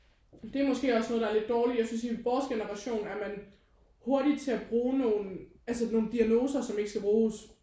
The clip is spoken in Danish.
Det er måske også noget der er lidt dårligt. Jeg synes i vores generation er man hurtig til at bruge nogen altså nogen diagnoser som ikke skal bruges